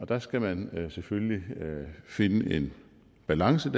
der skal man selvfølgelig finde en balance